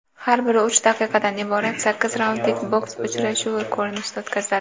har biri uch daqiqadan iborat sakkiz raundlik boks uchrashuvi ko‘rinishida o‘tkaziladi.